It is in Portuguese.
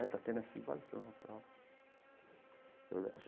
Né está tendo essa invasão e tal.